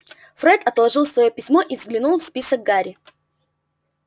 фред отложил своё письмо и заглянул в список гарри